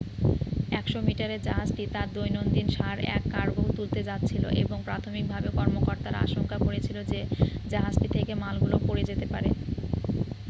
100 মিটারের জাহাজটি তার দৈনন্দীন সার এর কার্গো তুলতে যাচ্ছিল এবং প্রাথমিকভাবে কর্মকর্তারা আশঙ্কা করেছিল যে জাহাজটি থেকে মালগুলো পড়ে যেতে পারে